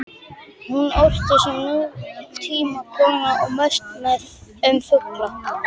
Hún orti sem nútímakona og mest um fugla.